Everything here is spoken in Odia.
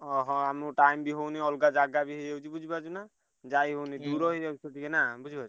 ଅହ! ଆମକୁ time ବି ହଉନି ଅଲଗା ଜାଗା ବି ହେଇଯାଉଛି ବୁଝିପାରୁଛୁ ନା ଯାଇହଉନି ଦୂର ହେଇଯାଉଛି ଟିକେ ନା ବୁଝିପାରୁଛୁ?